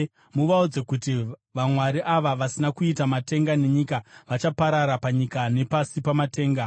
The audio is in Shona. “Muvaudze kuti, ‘Vamwari ava, vasina kuita matenga nenyika, vachaparara panyika nepasi pamatenga.’ ”